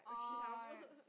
Ej